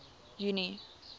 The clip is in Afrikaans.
junie